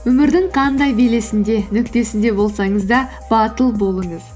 өмірдің қандай белесінде нүктесінде болсаңыз да батыл болыңыз